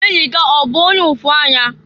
Enyi gị a ọ bụ onye ụfụanya?